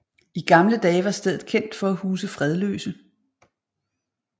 I gamle dage var stedet kendt for at huse fredløse